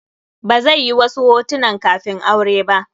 Ba zai yi wasu hotunan kafin aure ba.